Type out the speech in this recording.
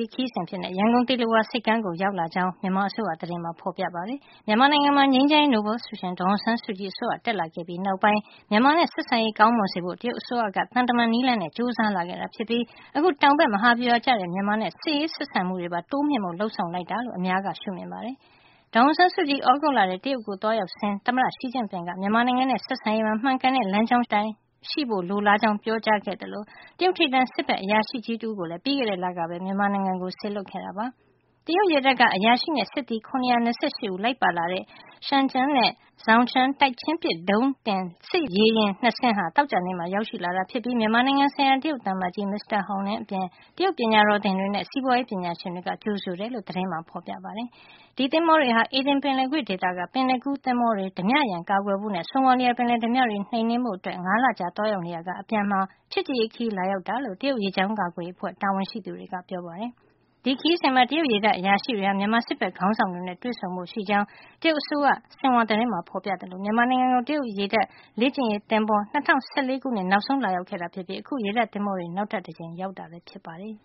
း ခရီးစဉ်အဖြစ်နဲ့ ရန်ကုန် သီလဝါဆိပ်ကမ်း ကို ရောက်ရှိ လာကြောင်း မြန်မာ အစိုးရ သတင်းမှာ ဖေါ်ပြ ထားပါတယ်။ မြန်မာနိုင်ငံမှာ ငြိမ်းချမ်းရေးနိုဗယ်ဆုရှင် ဒေါ်အောင်ဆန်းစုကြည် အစိုးရ တက်လာ ခဲ့ပြီးနောက်ပိုင်း မြန်မာနဲ့ ဆက်ဆံရေး ကောင်းမွန်စေဖို့ တရုတ်အစိုးရက သံတမန် နည်းလမ်းနဲ့ ကျိုးစားလာခဲ့တာ ဖြစ်ပြီး အခု တောင်ဘက်မဟာဗျူဟာကျတဲ့ မြန်မာနဲ့ စစ်ရေးဆက်ဆံမှုတွေပါ တိုးမြှင့်ဖို့ လုပ်ဆောင်လိုက်တာလို့ အများက ရှုမြင်ကြ ပါတယ်။ ဒေါ်အောင်ဆန်းစုကြည် သြဂုတ်လထဲ တရုတ်နိုင်ငံကို သွားရောက်စဉ်က သမ္မတ Xi Jinping က မြန်မာနိုင်ငံနဲ့ ဆက်ဆံရေးမှာ မှန်ကန်တဲ့ လမ်းကြောင်းအတိုင်း ရှိဖို့ လိုလားကြောင်း ပြောကြားခဲ့သလို တရုတ်ထိပ်တန်း စစ်ဘက်အရာရှိကြီး တဦးကို လည်း ပြီးခဲ့တဲ့လကပဲ မြန်မာနိုင်ငံကို စေလွှတ်ခဲ့တာပါ။ တရုတ်ရေတပ်က အရာရှိနဲ့ စစ်သည် ၇၂၈ ဦးလိုက်ပါလာတဲ့ Xiangtan နဲ့ Zhoushan တိုက်ချင်းပစ် ဒုံးတင် စစ်ရေယာဉ် ၂ စင်းဟာ သောကြာနေ့မှာ ရောက် ရှိလာတာဖြစ်ပြီး မြန်မာနိုင်ငံဆိုင်ရာ တရုတ်သံအမတ်ကြီး Mr. Hong Liang အပြင် တရုတ်ပညာတော်သင်တွေနဲ့စီးပွါးရေးပညာရှင်တွေက ကြိုဆိုတယ်လို့ သတင်းမှာ ဖေါ်ပြထားပါတယ်။ ဒီ သင်္ဘောတွေဟာ အေဒင် ပင်လယ်ကွေ့ဒေသက ပင်လယ်ကူးသင်္ဘောတွေ ဓါးပြရန် ကာကွယ်ဖို့နဲ့ ဆိုမာလီယာ ပင်လယ်ဓါးပြတွေကို နှိမ်နင်းဖို့ ၅ လကြာ သွားရောက်နေရာက အပြန်မှာ ချစ်ကြည်ရေးခရီး လာရောက်တာလို့ တရုတ်ရေကြောင်း ကာကွယ်ရေးအဖွဲ့ တာဝန်ရှိသူတွေက ပြောပါတယ်။ ဒီခရီးစဉ်မှာ တရုတ်ရေတပ် အရာရှိတွေဟာ မြန်မာစစ်ဘက် ခေါင်းဆောင်တွေ နဲ့ တွေ့ဆုံဖို့ ရှိကြောင်းလည်း တရုတ်အစိုးရ ဆင်ဟွာသတင်းက ဖေါ်ပြပါတယ်။ မြန်မာနိုင်ငံကို တရုတ်ရေတပ် လေ့ကျင့်ရေးသင်္ဘော ၂၀၁၄ ခုနှစ်မှာ နောက်ဆုံး လာရောက်ခဲ့ တာဖြစ်ပြီး အခု ရေတပ် သင်္ဘောတွေ နောက်ထပ်တကြိမ် လာရောက် တာလည်း ဖြစ်ပါတယ်